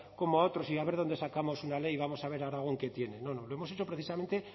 como a otros y a ver dónde sacamos una ley y vamos a ver aragón qué tiene no no lo hemos hecho precisamente